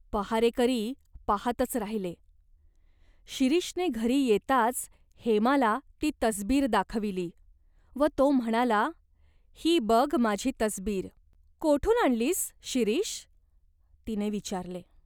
पहारेकरी पाहातच राहिले ! शिरीषने घरी येताच हेमाला ती तसबीर दाखविली व तो म्हणाला, "ही बघ माझी तसबीर !" "कोठून आणलीस, शिरीष ?" तिने विचारले.